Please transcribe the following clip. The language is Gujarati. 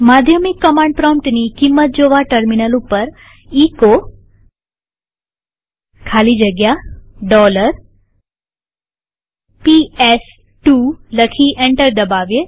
માધ્યમિક કમાંડ પ્રોમ્પ્ટની કિંમત જોવા ટર્મિનલ ઉપર એચો ખાલી જગ્યા PS2 લખી એન્ટર દબાવીએ